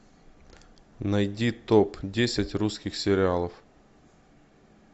найди топ десять русских сериалов